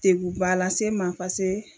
Teguba lase n ma pase